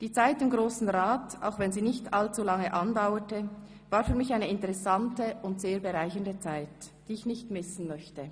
Die Zeit im Grossen Rat, auch wenn sie nicht allzu lange andauerte, war für mich eine interessante und bereichernde Zeit, die ich nicht missen möchte.